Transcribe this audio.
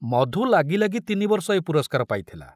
ମଧୁ ଲାଗି ଲାଗି ତିନି ବର୍ଷ ଏ ପୁରସ୍କାର ପାଇଥିଲା।